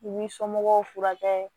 U b'i somɔgɔw furakɛ